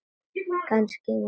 Kannski hún líka?